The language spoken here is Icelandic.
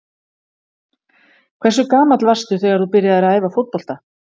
Hversu gamall varstu þegar þú byrjaðir að æfa fótbolta?